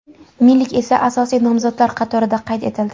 Milik esa asosiy nomzodlar qatorida qayd etildi.